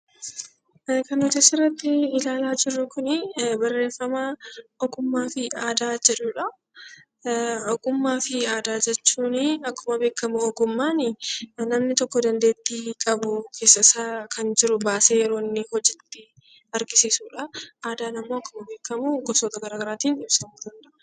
Kan asirratti ilaalaa jirru kuni barreeffama ogummaa fi aadaa jedhudha. Ogummaa fi aadaa jechuun akkuma beekamu ogummaan namni tokko dandeettii qabu keessa isaa baasee yeroo inni hojiitti argisiisudha. Aadaan immoo akkuma beekamu gosoota garaa garaatiin ibsamuu danda'a.